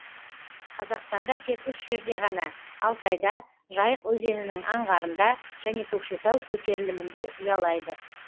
қазақстанда тек үш жерде ғана алтайда жайық өзенінің аңғарында және көкшетау көтерілімінде ұялайды